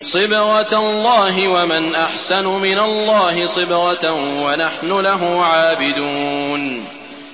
صِبْغَةَ اللَّهِ ۖ وَمَنْ أَحْسَنُ مِنَ اللَّهِ صِبْغَةً ۖ وَنَحْنُ لَهُ عَابِدُونَ